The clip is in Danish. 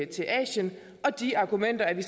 til asien og de argumenter er vi